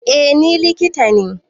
Eh ni likita ne